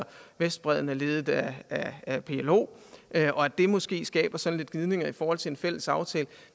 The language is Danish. vestbredden er ledet af af plo og at det måske skaber sådan lidt gnidninger i forhold til en fælles aftale